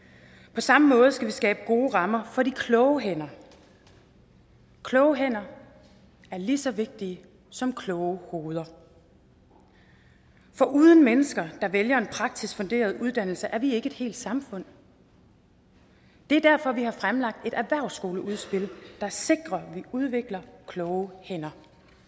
på samme måde skal vi skabe gode rammer for de kloge hænder kloge hænder er lige så vigtigt som kloge hoveder for uden mennesker der vælger en praktisk funderet uddannelse er vi ikke et helt samfund det er derfor vi har fremlagt et erhvervsskoleudspil der sikrer at vi udvikler kloge hænder